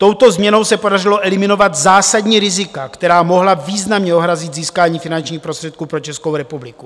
Touto změnou se podařilo eliminovat zásadní rizika, která mohla významně ohrozit získání finančních prostředků pro Českou republiku.